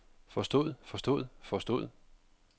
forstod forstod forstod